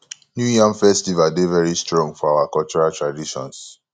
new yam festival dey very strong for our cultural traditions